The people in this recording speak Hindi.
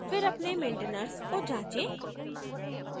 फिर अपने maintainers को जाँचे